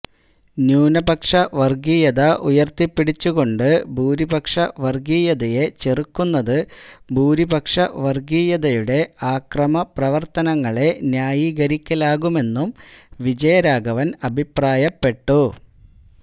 ന്യൂനപക്ഷ വർഗീയത ഉയർത്തിപ്പിടിച്ചുകൊണ്ട് ഭൂരിപക്ഷ വർഗീയതയെ ചെറുക്കുന്നത് ഭൂരിപക്ഷ വർഗീയതയുടെ അക്രമപ്രവർത്തനങ്ങളെ ന്യായീകരിക്കലാകുമെന്നും വിജയരാഘവൻ അഭിപ്രായപ്പെട്ടു